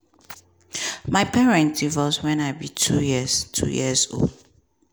my parents divorce when i be 2 years 2 years old.